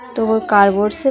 तो वो कार्डबोर्ड से --